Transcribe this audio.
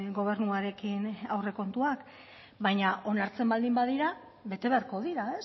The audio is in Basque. gobernuarekin aurrekontuak baina onartzen baldin badira bete beharko dira